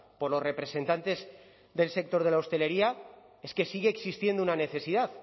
por los representantes del sector de la hostelería es que sigue existiendo una necesidad